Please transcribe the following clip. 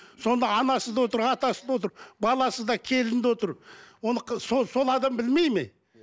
сонда анасы да отыр атасы да отыр баласы да келіні де отыр оны сол адам білмейді ме